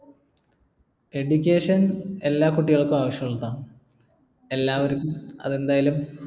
education എല്ലാ കുട്ടികൾക്കും ആവശ്യമുള്ളതാണ് എല്ലാവർക്കും അത് എന്തായാലും